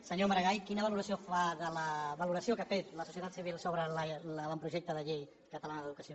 senyor maragall quina valoració fa de la valoració que ha fet la societat civil sobre l’avantprojecte de llei catalana d’educació